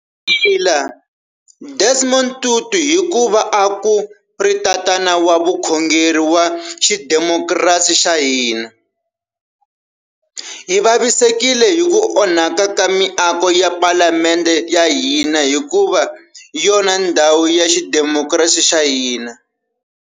Hi rila Desmond Tutu hikuva a ku ri tatana wa vukhongeri wa xidemokirasi xa hina. Hi vavisekile hi ku onhaka ka miako ya Palamende ya hina hikuva hi yona ndhawu ya xidemokirasi xa hina.